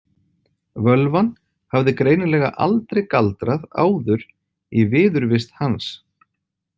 Völvan hafði greinilega aldrei galdrað áður í viðurvist hans.